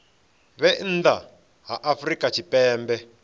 vhe nnḓa ha afrika tshipembe